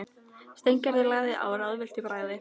Steingerður lagði á, ráðvillt í bragði.